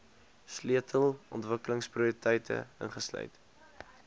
sleutel ontwikkelingsprioriteite insluit